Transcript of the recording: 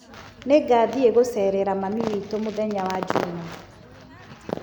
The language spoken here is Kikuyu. Nĩngathiĩ gucerera mami witũ mũ thenya wa juma.